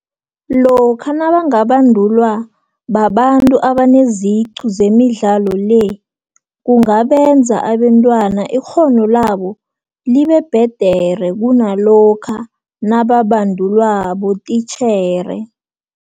Lokha nabangabandulwa babantu abaneziqu zemidlalo le, kungabenza abentwana ikghono labo libebhedere kunalokha nababandulwa botitjhere.